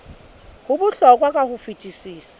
ho bohlokwa ka ho fetisisa